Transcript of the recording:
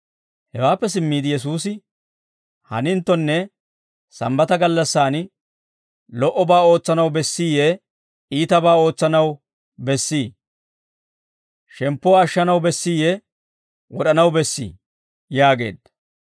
Hewaappe simmiide Yesuusi, «Haninttonne sambbata gallassaan lo"obaa ootsanaw bessiiyee iitabaa ootsanaw bessii? Shemppuwaa ashshanaw bessiiyee wod'anaw bessii?» yaageedda.